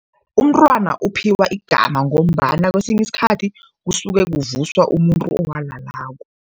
Umntwana uphiwa igama ngombana kwesinye isikhathi kusuke kuvuswa umuntu owalalako.